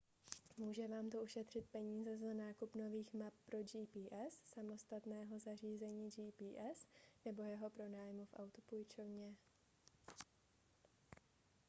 může vám to ušetřit peníze za nákup nových map pro gps samostatného zařízení gps nebo jeho pronájmu v autopůjčovně